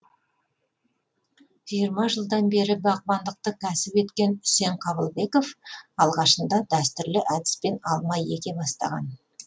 жиырма жылдан бері бағбандықты кәсіп еткен үсен қабылбеков алғашында дәстүрлі әдіспен алма еге бастаған